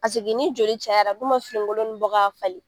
Paseke ni joli cayara u dun be finikolon nunnu bɔ ka falen.